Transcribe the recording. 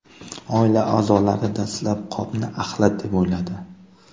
Oila a’zolari dastlab qopni axlat deb o‘yladi.